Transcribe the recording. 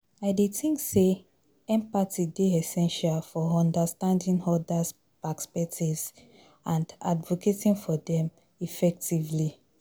I dey think say empathy dey essential for understanding odas perspectives and advocating for dem effectively.